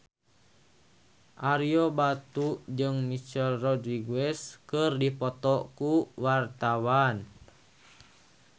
Ario Batu jeung Michelle Rodriguez keur dipoto ku wartawan